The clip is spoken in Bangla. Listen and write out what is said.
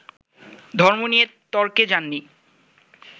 ধর্ম নিয়ে তর্কে যাননি